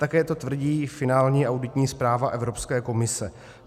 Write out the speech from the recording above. Také to tvrdí finální auditní zpráva Evropské komise.